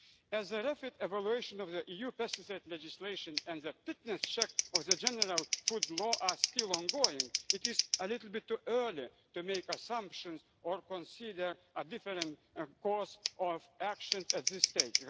we do. As the REFIT evaluation of the EU pesticide legislation and the fitness check of the General Food Law are still ongoing, it is a little bit too early to make assumptions or consider a different course of action at